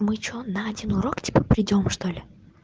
на один урок типа придём что ли